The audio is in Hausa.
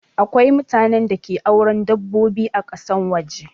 Akwai mutanen da ke auren dabbobi ã kasan waje.